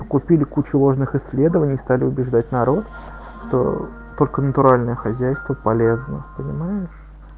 купили кучу важных исследований и стали убеждать народ что только натуральное хозяйство полезно понимаешь